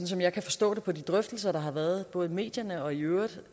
som jeg kan forstå det på de drøftelser der har været både i medierne og i øvrigt